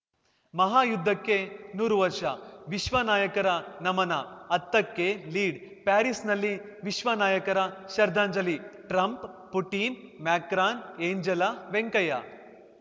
ಮಹಾಯುದ್ಧಕ್ಕೆ ನೂರು ವರ್ಷ ವಿಶ್ವನಾಯಕರ ನಮನ ಹತ್ತಕ್ಕೆ ಲೀಡ್‌ ಪ್ಯಾರಿಸ್‌ನಲ್ಲಿ ವಿಶ್ವ ನಾಯಕರ ಶ್ರದ್ಧಾಂಜಲಿ Trump Putin Macron Angela Venkaiah